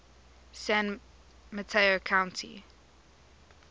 san mateo county